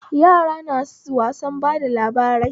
Yara na wasan bada labarai